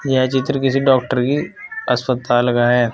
यह चित्र किसी डॉक्टर की अस्पताल का है।